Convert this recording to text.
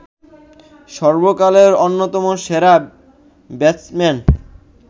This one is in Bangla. সর্বকালের অন্যতম সেরা ব্যাটসম্যান